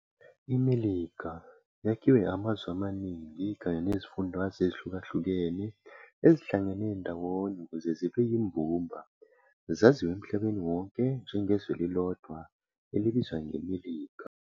iMelika yakhiwe amazwe amaniningi kanye nezifundazwe ezihlukahlukene ezihlangene ngawonye ukuthi zibe yimbumba zaziwe emhlabeni wonke njengezwe elilodwa elibizwa nge Melika.